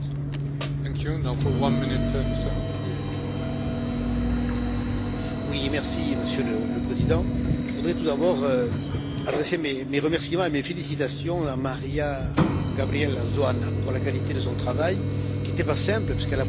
Monsieur le Président, je voudrais tout d'abord adresser mes remerciements et mes félicitations à Maria Gabriella Zoanǎ pour la qualité de son travail qui n'était pas simple, puisqu'elle a pris la suite de Mme Dǎncilǎ, sur ce rapport essentiel pour l'avenir de l'agriculture.